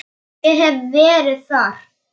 Ég hef verið þar.